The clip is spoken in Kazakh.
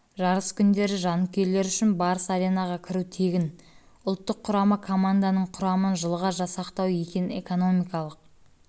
жарыс күндері жанкүйерлер үшін барыс аренаға кіру тегін ұлттық құрама команданың құрамын жылға жасақтау екен экономикалық